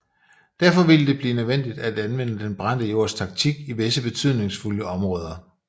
Derfor ville det blive nødvendigt at anvende den brændte jords taktik i visse betydningsfulde områder